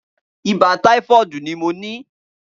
Ibà tàífọ̀dí ni mó ní